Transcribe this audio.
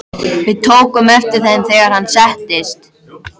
Við tókum eftir þeim, þegar hann settist.